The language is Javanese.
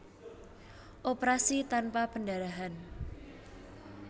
Operasi tanpa perdarahan